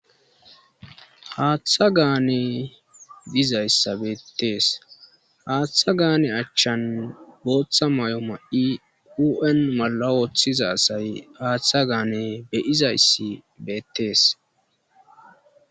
haaththa gaane dizayssa beettees haaththa gaane achchan booththa ma'o ma'i u'an mala wooththiza asay haaththa gaane be'izayssi beettees